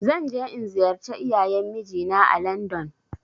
Zan je in ziyarci iyayen mijinaa ã landon.